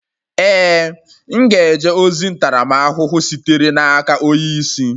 Ee, m ga-eje ozi ntaramahụhụ sitere n'aka onye isi.